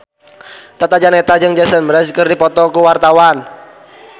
Tata Janeta jeung Jason Mraz keur dipoto ku wartawan